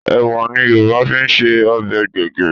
Ẹ̀wà ni Yorùbá fi ń se ọbẹ̀ gbẹ̀gìrì